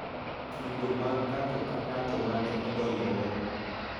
Kido mag ng�ato ka ng�ato ma ne odonjore,